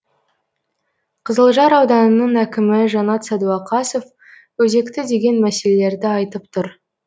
қызылжар ауданының әкімі жанат сәдуақасов өзекті деген мәселелерді айтып тұр